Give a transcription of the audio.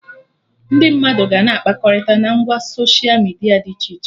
Ndị mmadụ ga-na akpakọrịta na ngwa soshia midia dị iche iche